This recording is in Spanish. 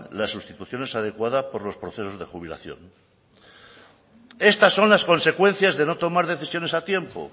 las sustituciones adecuadas por los procesos de jubilación estas son las consecuencias de no tomar decisiones a tiempo